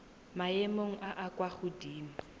maemong a a kwa godimo